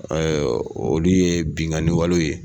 olu ye binkann walew ye